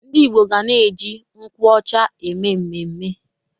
Ndị Igbo ga na-eji nkwụ ọcha eme mmemme.